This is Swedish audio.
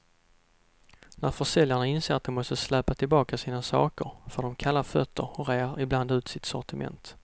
När försäljarna inser att de måste släpa tillbaka sina saker, får de kalla fötter och rear ibland ut sitt sortiment.